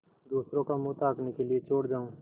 दूसरों का मुँह ताकने के लिए छोड़ जाऊँ